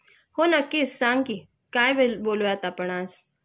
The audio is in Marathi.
हो नक्कीच सांग कि.काय बोलूयात आपण आज?